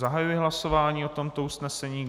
Zahajuji hlasování o tomto usnesení.